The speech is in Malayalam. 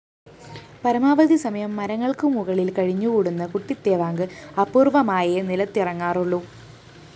പരമാവധി സമയം മരങ്ങള്‍ക്ക് മുകളില്‍ കഴിഞ്ഞുകൂടുന്ന കുട്ടിത്തേവാങ്ക് അപൂര്‍വ്വമായേ നിലത്തിറങ്ങാറുള്ളൂ